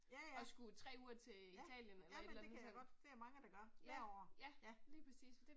Ja ja, ja ja, men det kan jeg godt, det er mange der gør, hver år, ja